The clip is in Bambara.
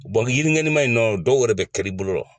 yiri ngɛnima in nɔ dɔw yɛrɛ bɛ kari i bolo la.